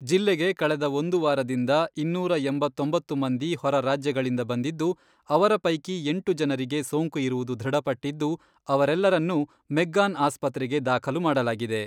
ಜಿಲ್ಲೆಗೆ ಕಳೆದ ಒಂದು ವಾರದಿಂದ ಇನ್ನೂರ ಎಂಬತ್ತೊಂಬತ್ತು ಮಂದಿ ಹೊರರಾಜ್ಯಗಳಿಂದ ಬಂದಿದ್ದು, ಅವರ ಪೈಕಿ ಎಂಟು ಜನರಿಗೆ ಸೋಂಕು ಇರುವುದು ದೃಢಪಟ್ಟಿದ್ದು, ಅವರೆಲ್ಲರನ್ನೂ ಮೆಗ್ಗಾನ್ ಆಸ್ಪತ್ರೆಗೆ ದಾಖಲು ಮಾಡಲಾಗಿದೆ.